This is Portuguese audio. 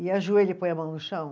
E ajoelha e põe a mão no chão.